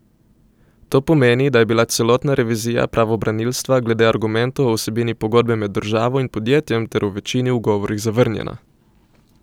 To pomeni, da je bila celotna revizija pravobranilstva glede argumentov o vsebini pogodbe med državo in podjetjem ter v večini ugovorih zavrnjena.